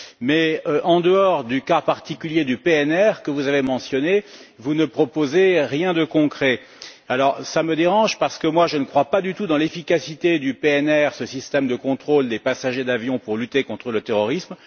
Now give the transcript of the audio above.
Mais, en dehors du cas particulier du PNR que vous avez mentionné, vous ne proposez rien de concret. Cela me dérange parce que je ne crois pas du tout en l'efficacité du PNR, ce système de contrôle des passagers d'avion, pour lutter contre le terrorisme.